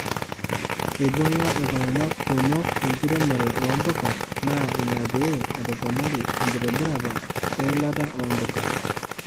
Eibung'a iltunga kumok enkiremore oompuka naa ina pee etoponari ekitobirata eilata oo mpuka.